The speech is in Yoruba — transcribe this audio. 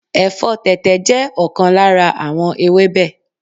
Ẹ̀fọ́ tẹ̀tẹ̀ jẹ́ ọ̀kan lára àwọn ewébẹ̀